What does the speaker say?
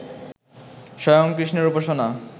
স্বয়ং কৃষ্ণের উপাসনা